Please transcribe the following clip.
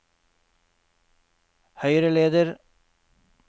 høyreleder